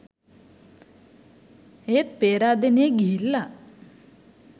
ඒත් පේරාදෙනියෙ ගිහිල්ල